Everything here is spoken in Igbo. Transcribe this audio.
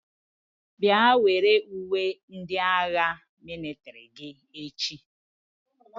Bịa were uwe ndị agha mịlịtrị gị echi!